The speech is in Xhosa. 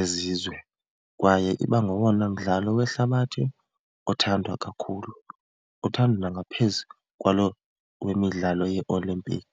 ezizwe, kwaye iba ngowona mdlalo wehlabathi othandwa kakhulu, uthandwa ngaphezu kwalo wemidlalo yeOlympic.